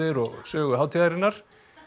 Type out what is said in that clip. og sögu hátíðarinnar